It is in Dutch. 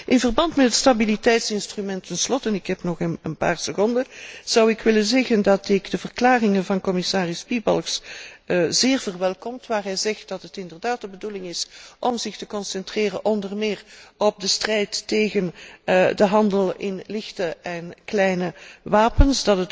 In verband met het stabiliteitsinstrument ten slotte ik heb nog een paar seconden zou ik willen zeggen dat ik de verklaringen van commissaris Piebalgs zeer verwelkom, waar hij zegt dat het inderdaad de bedoeling is om zich onder meer te concentreren op de strijd tegen de handel in lichte en kleine wapens.